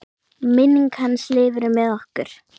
Minning hans lifir með okkur.